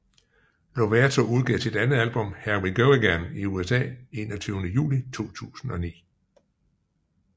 Lovato udgav sit andet album Here We Go Again i USA 21 Juli 2009